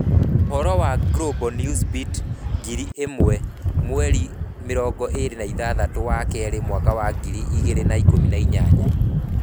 Ũhoro wa Global Newsbeat ngiri ĩmwe 26/02/2018